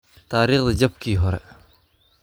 Taariikhda Jabkii Hore.